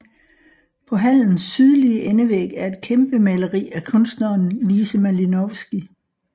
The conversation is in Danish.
På hallens sydlige endevæg er et kæmpemaleri af kunstneren Lise Malinowsky